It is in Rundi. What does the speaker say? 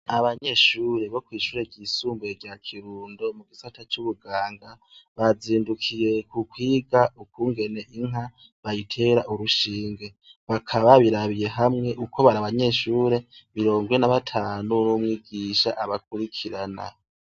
Abanyeshure bokwishure ryisumbuye rya Kirundo mugisata cubuganga bazindukiye kwiga ukungene inka bayitera urushinge bakaba babirabiye hamwe kuko bari abanyeshure mirongo ine na batanu numwigisha abakurikirana